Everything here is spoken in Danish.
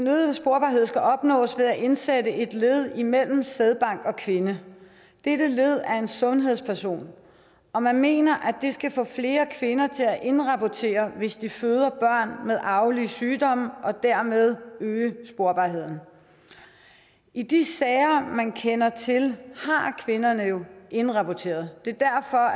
øgede sporbarhed skal opnås ved at indsætte et led imellem sædbank og kvinde dette led er en sundhedsperson og man mener at det skal få flere kvinder til at indrapportere hvis de føder børn med arvelige sygdomme og dermed øge sporbarheden i de sager man kender til har kvinderne jo indrapporteret det